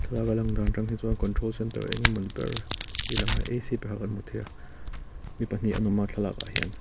thlalaka a lang dan aṭang hi chuan control centre engemawni ber hi a langa ac kan hmu thei a mi pahnih an awma thlalak ah hian.